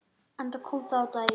Enda kom það á daginn.